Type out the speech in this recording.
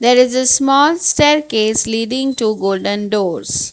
There is a small staircase Leading to golden doors.